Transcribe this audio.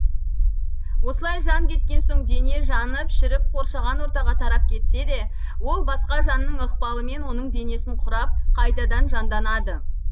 осылай жан кеткен соң дене жанып шіріп қоршаған ортаға тарап кетсе де ол басқа жанның ықпалымен оның денесін құрап қайтадан жанданады